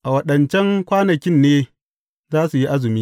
A waɗancan kwanakin ne za su yi azumi.